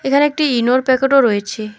এখানে একটি ইনোর প্যাকেট -ও রয়েছে।